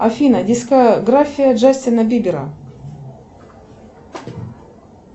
афина дискография джастина бибера